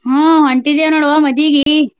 ಹ್ಮ್ ಹೊಂಟೀದೇವ್ ನೋಡ್ವಾ ಮದ್ವಿಗಿ.